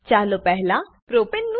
ચાલો પહેલા પ્રોપને